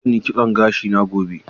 Zan yi kitson gashina gobe.